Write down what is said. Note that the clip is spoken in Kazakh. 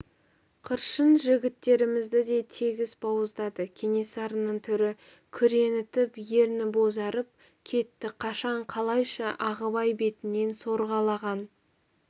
қыршын жігіттерімізді де тегіс бауыздады кенесарының түрі күреңітіп ерні бозарып кетті қашан қалайша ағыбай бетінен сорғалаған